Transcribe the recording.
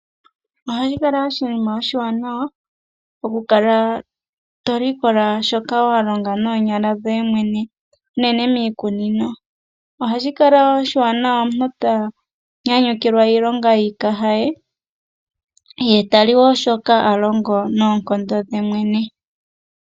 Ohashi kala oshinima oshiwanawa okukala tolikola shoka walonga noonyala dhoye mwene unene miikunino. Ohashi kala oshiwanawa omuntu tanyanyukilwa iilonga yiikaha ye, ye tali wo shoka a longo noonkondo dhe mwene.